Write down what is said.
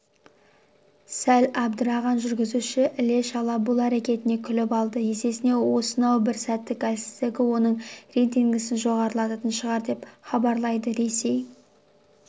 сәл абдырған жүргізуші іле-шала бұл әрекетіне күліп алды есесіне осынау бір сәттік әлсіздігі оның рейтингісін жоғарлататын шығар деп хабарлайды ресей